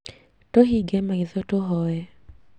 Tũhinge maitho tũhoe